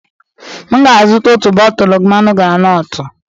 M ga-azụta otu bọtụlụ mmanụ granọtụ.